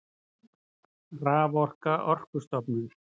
Raforka Orkustofnun.